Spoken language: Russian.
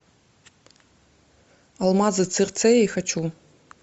алмазы цирцеи хочу